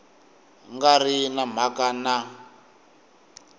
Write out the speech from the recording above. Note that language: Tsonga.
nga ri na mhaka na